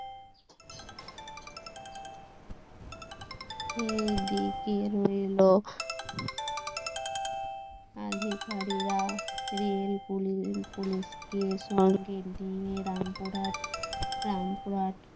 এই দিকে রইলো আধেকারেরা রেল পুলিশকে সঙ্গে নিয়ে রামপুরহাট রামপুরহাট